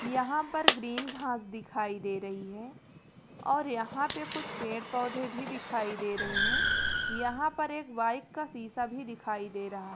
यहाँ पर ग्रीन घास दिखाई दे रही है और यहाँ पे कुछ पेड़-पौधे भी दिखाई दे रहे हैं यहाँ पर एक बाइक का सीसा भी दिखाई दे रहा --